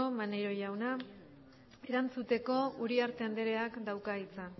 maneiro jauna erantzuteko uriarte andreak dauka hitza